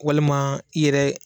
Walima i yɛrɛ